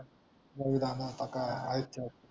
रवी दादा होता काय